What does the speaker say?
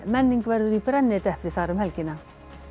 menning verður í brennidepli þar um helgina